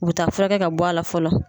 Ubi taa furakɛ ka bɔ a la fɔlɔ.